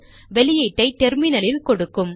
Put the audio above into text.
வெளியீட்டை டெர்மினலில் கொடுக்கும்